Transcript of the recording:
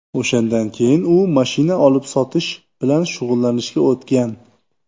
O‘shandan keyin u mashina olib-sotish bilan shug‘ullanishga o‘tgan.